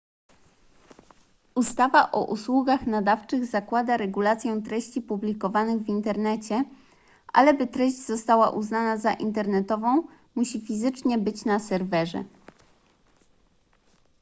ustawa o usługach nadawczych zakłada regulację treści publikowanych w internecie ale by treść została uznana za internetową musi fizycznie być na serwerze